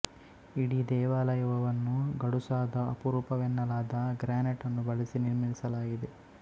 ಇಡೀ ದೇವಾಲಯವವನ್ನು ಗಡುಸಾದ ಅಪರೂಪವೆನ್ನಲಾದ ಗ್ರ್ಯಾನೈಟ್ ನ್ನು ಬಳಸಿ ನಿರ್ಮಿಸಲಾಗಿದೆ